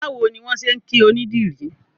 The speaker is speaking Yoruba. Báwo ni wọ́n ṣe ń kí onídìrí?